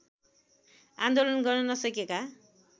आन्दोलन गर्न नसकेका